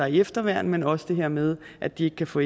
i efterværn men også det her med at de ikke kan få